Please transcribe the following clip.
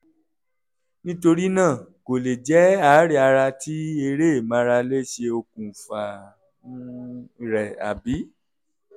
nítorí náà kò lè jẹ́ àárẹ̀ ara tí eré ìmárale ṣe okùnfà um rẹ̀ àbí?